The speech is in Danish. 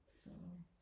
så